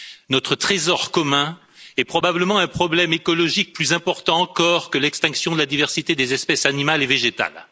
notre trésor commun, est probablement un problème écologique plus important encore que l'extinction de la diversité des espèces animales et végétales.